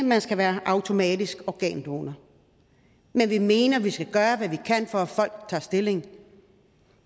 man skal være automatisk organdonor men vi mener at vi skal gøre hvad vi kan for at folk tager stilling